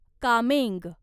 Kameng